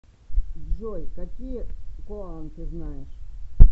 джой какие коан ты знаешь